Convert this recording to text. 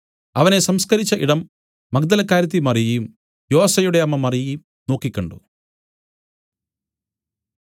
അവനെ സംസ്കരിച്ച ഇടം മഗ്ദലക്കാരത്തി മറിയയും യോസെയുടെ അമ്മ മറിയയും നോക്കിക്കണ്ടു